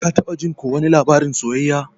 Ka taba jin ko wani labarin soyayya?